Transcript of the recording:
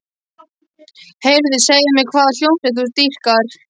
Heyrðu, segðu mér hvaða hljómsveit þú dýrkar.